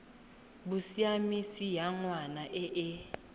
bosiamisi ya ngwana e e